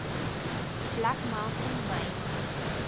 black mountain myn